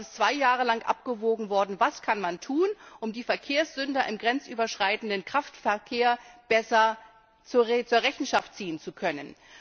Aber es ist zwei Jahre lang abgewogen worden, was man tun kann, um die Verkehrssünder im grenzüberschreitenden Kraftverkehr besser zur Rechenschaft ziehen zu können.